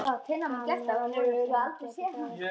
Hann var að vonast til að hann gæti það ekki.